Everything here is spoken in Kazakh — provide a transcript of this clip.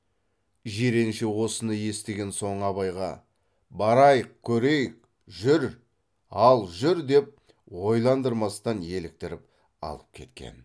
жиренше осыны естіген соң абайға барайық көрейік жүр ал жүр деп ойландырмастан еліктіріп алып кеткен